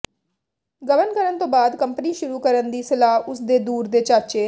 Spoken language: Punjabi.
ਗਬਨ ਕਰਨ ਤੋਂ ਬਾਦ ਕੰਪਨੀ ਸ਼ੁਰੂ ਕਰਨ ਦੀ ਸਲਾਹ ਉਸ ਦੇ ਦੂਰ ਦੇ ਚਾਚੇ